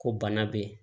Ko bana be yen